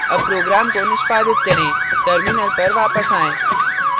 अब program को निष्पादित करें terminal पर वापस आएँ